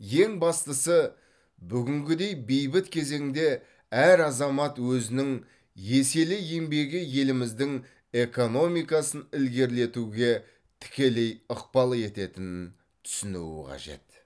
ең бастысы бүгінгідей бейбіт кезеңде әр азамат өзінің еселі еңбегі еліміздің экономикасын ілгерілетуге тікелей ықпал ететінін түсінуі қажет